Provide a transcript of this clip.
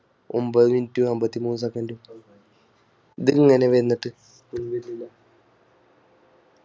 ഒൻപത് mint അന്പത്തിമൂന്ന് second ഇതിങ്ങനെവന്നിട്